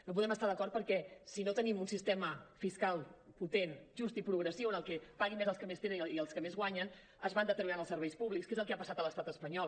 no hi podem estar d’acord perquè si no tenim un sistema fiscal potent just i progressiu en el que paguin més els que més tenen i els que més guanyen es van deteriorant els serveis públics que és el que ha passat a l’estat espanyol